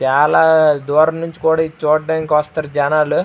చాలా దూరము నుంచి కూడా ఇది చూడడానికి వస్తారు జనలు.